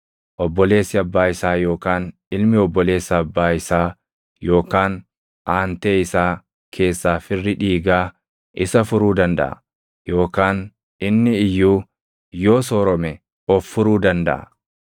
Obboleessi abbaa isaa yookaan ilmi obboleessa abbaa isaa yookaan aantee isaa keessaa firri dhiigaa isa furuu dandaʼa. Yookaan inni iyyuu yoo soorome of furuu dandaʼa.